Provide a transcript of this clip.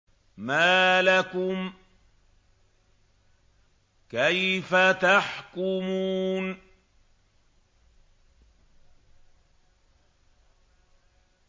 مَا لَكُمْ كَيْفَ تَحْكُمُونَ